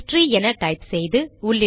history என type செய்து